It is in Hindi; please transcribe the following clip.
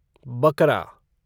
बकरा